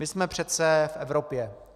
My jsme přece v Evropě.